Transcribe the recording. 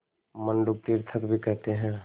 मंडूक तीर्थक भी कहते हैं